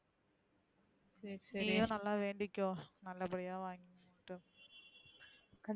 நீயும் நல்லா வேண்டிக்கோ நல்லா படிய வங்கனுனு.